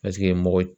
Paseke mɔgɔ